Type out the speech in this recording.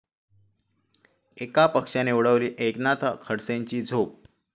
एका पक्षाने उडवली एकनाथ खडसेंची झोप